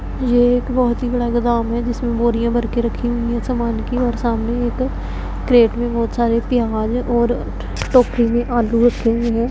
ये एक बहोत ही बड़ा गोदाम है जिसमें बोरियां भर के रखी हुई है समान की और सामने एक क्रेट में बहोत सारे और टोकरी में आलू रखे हुए--